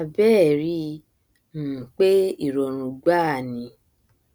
àbbẹẹ ríi um pé ìrọrùn gbáà ni